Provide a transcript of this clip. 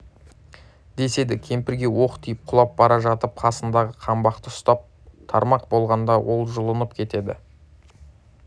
деседі кемпірге оқ тиіп құлап бара жатып қасындағы қаңбақты ұстап тұрмақ болғанда ол жұлынып кетеді